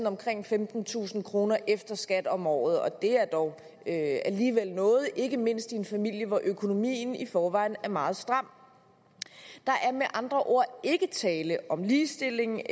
omkring femtentusind kroner efter skat om året og det er dog alligevel noget ikke mindst i en familie hvor økonomien i forvejen er meget stram der er med andre ord ikke tale om ligestilling